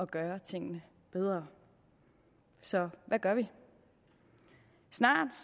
gøre tingene bedre så hvad gør vi snart